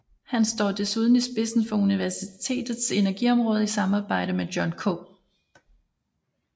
Han står desuden i spidsen for universitetets energiområde i samarbejde med John K